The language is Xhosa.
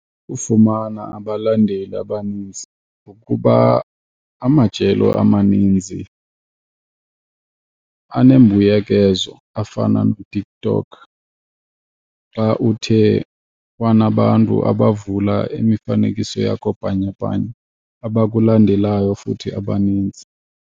Ukufumana abalandeli abaninzi, ngokuba amajelo amaninzi anembuyekezo afana noTikTok xa uthe wanabantu abavula imifanekiso yakho bhanyabhanya abakulandelayo futhi abanintsi.